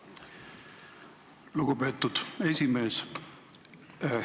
Aitäh, lugupeetud esimees!